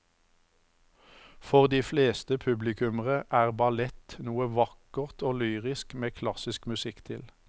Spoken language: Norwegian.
For de fleste publikummere er ballett noe vakkert og lyrisk med klassisk musikk til.